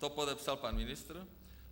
To podepsal pan ministr.